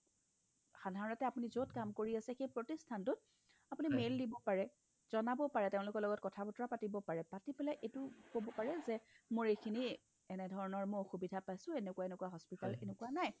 সাধাৰণতে আপুনি য'ত কাম কৰি আছে সেই প্ৰতিষ্ঠানটোত আপুনি mail দিব পাৰে জনাব পাৰে তেওঁলোকৰ লগত কথা বতৰা পাতিব পাৰে পাতি পেলাই এইটো ক'ব পাৰে যে মোৰ এইখিনি মই এনেকুৱা ধৰণৰ মই অসুবিধা পাইছো এনেকুৱা এনেকুৱা hospital এনেকুৱা নাই